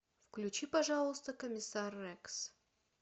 включи пожалуйста комиссар рекс